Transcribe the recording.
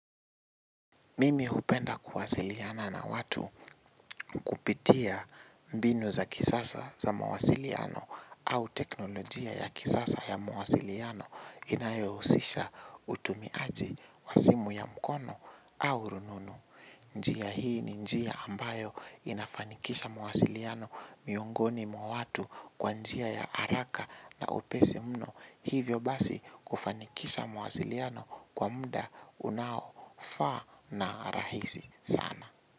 Mimi hupenda kuwasiliana na watu kupitia mbinu za kisasa za mawasiliano au teknolojia ya kisasa ya mawasiliano inayohusisha utumiaji wa simu ya mkono au rununu. Njia hii ni njia ambayo inafanikisha mawasiliano miongoni mwa watu kwa njia ya haraka na upesi mno. Hivyo basi kufanikisha mawasiliano kwa muda unaofaa na rahisi sana.